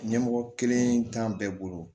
Ɲɛmɔgɔ kelen t'an bɛɛ bolo